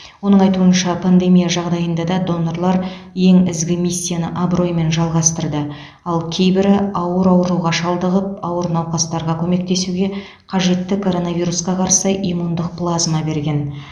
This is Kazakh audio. оның айтуынша пандемия жағдайында да донорлар ең ізгі миссияны абыроймен жалғастырды ал кейбірі ауыр ауруға шалдығып ауыр науқастарға көмектесуге қажетті короновирусқа қарсы иммундық плазма берген